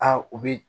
Aa u bɛ